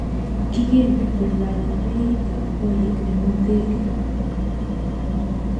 Kigeni kolany beit ab korik eng hoteli